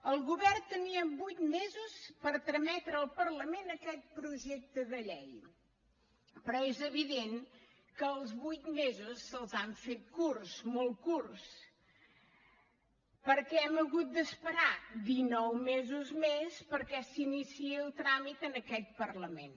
el govern tenia vuit mesos per trametre al parlament aquest projecte de llei però és evident que els vuit mesos se’ls han fet curts molt curts perquè hem hagut d’esperar dinou mesos més perquè s’iniciï el tràmit en aquest parlament